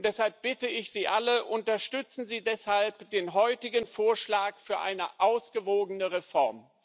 Deshalb bitte ich Sie alle Unterstützen Sie deshalb den heutigen Vorschlag für eine ausgewogene Reform!